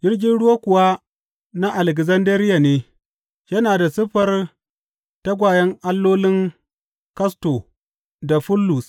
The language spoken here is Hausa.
Jirgin ruwa kuwa na Alekzandariya ne yana da siffar tagwayen allolin Kasto da Follus.